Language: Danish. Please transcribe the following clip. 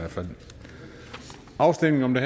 afstemning om det